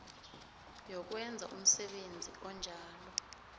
yokwenza umsebenzi onjalo